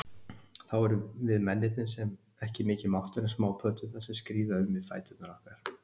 Þá erum við mennirnir ekki mikið máttugri en smápöddurnar, sem skríða um við fætur okkar.